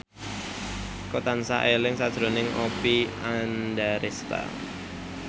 Eko tansah eling sakjroning Oppie Andaresta